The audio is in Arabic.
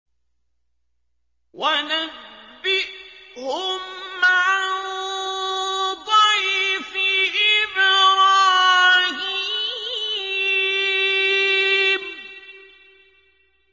وَنَبِّئْهُمْ عَن ضَيْفِ إِبْرَاهِيمَ